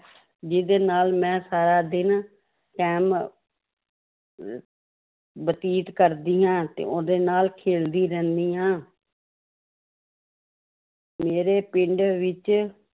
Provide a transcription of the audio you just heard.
ਜਿਹਦੇ ਨਾਲ ਮੈਂ ਸਾਰਾ ਦਿਨ time ਅਹ ਬਤੀਤ ਕਰਦੀ ਹਾਂ ਤੇ ਉਹਦੇ ਨਾਲ ਖੇਡਦੀ ਰਹਿੰਦੀ ਹਾਂ ਮੇਰੇ ਪਿੰਡ ਵਿੱਚ